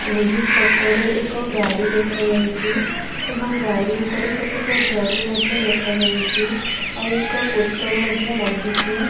ଏହି ଫୋଟୋ ରେ ଏକ ଗାଡ଼ି ଦେଖାଯାଉଛି ଏବଂ ଗାଡ଼ି ଉପରେ କେତେକ ଜରି ମଧ୍ୟ ଦେଖାଯାଉଛି ଆଉ ଏକ ପୋଷ୍ଟର ମଧ୍ୟ ଲାଗିଛି।